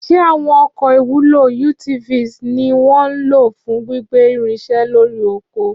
Ṣé àwọn ọkọ̀ ìwúlò (UTVs) ni wọ́n ń lò fún gbígbé irinṣẹ́ lórí oko?